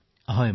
হয় মহোদয়